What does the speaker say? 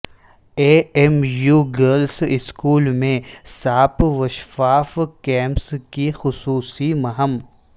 اے M U girls school میں صاف وشفاف کیمپس کی خصوصی مہم